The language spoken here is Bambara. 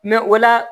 o la